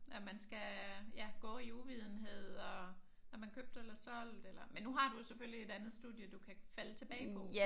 At man skal ja gå i uvidenhed og er man købt eller solgt eller men nu har du jo selvfølgelig et andet studie du kan falde tilbage på